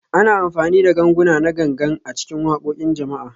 Ana amfani da ganguna na Gangan a cikin waƙoƙin jama'a